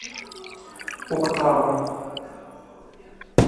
октава